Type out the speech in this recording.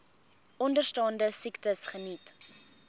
onderstaande siektes geniet